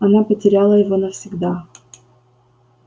она потеряла его навсегда